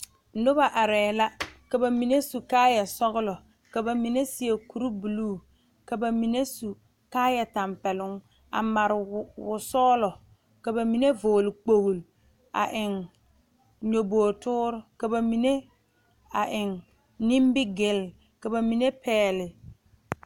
Noba arɛɛ la ka ba mine su kaayɛ sɔgelɔ ka ba mine seɛ kuri buluu ka ba mine su kaayɛ tɛmpɛloŋ a made wo sɔgelɔ ka ba mine vɔgele kpogle ka eŋ nyɔboo toore ka ba mine a eŋ nimigele ka ba mine pɛgle